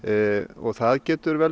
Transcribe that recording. og það getur vel